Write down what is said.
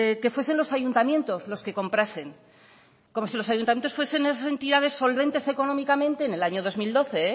que fuesen los ayuntamientos los que comprasen como si los ayuntamientos fuesen esas entidades solventes económicamente en el año dos mil doce